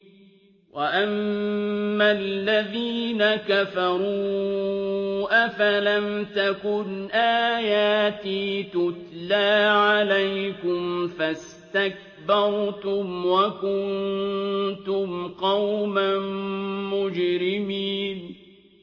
وَأَمَّا الَّذِينَ كَفَرُوا أَفَلَمْ تَكُنْ آيَاتِي تُتْلَىٰ عَلَيْكُمْ فَاسْتَكْبَرْتُمْ وَكُنتُمْ قَوْمًا مُّجْرِمِينَ